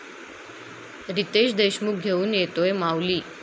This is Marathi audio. रितेश देशमुख घेऊन येतोय 'माऊली'!